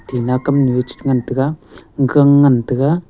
tinna kamnu chringan taiga gang ngan taiga.